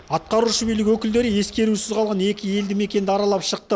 атқарушы билік өкілдері ескерусіз қалған екі елді мекенді аралап шықты